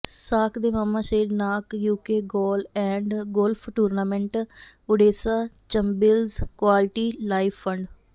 ਸ਼ਾਕ the mama said knock UK goal and golf tournament Odessa ਚੰਬਿਲਸ quality life fund